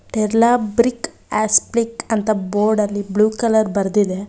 ತೆರ್ಲ brick aspect ಅಂತ board ಲ್ಲಿ blue colour ಬರ್ದಿದೆ.